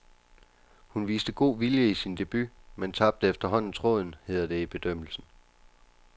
Hun viste god vilje i sin debut, men tabte efterhånden tråden, hedder det i bedømmelsen.